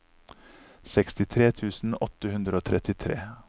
sekstitre tusen åtte hundre og trettitre